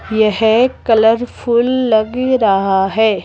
यह कलरफुल लग रहा है।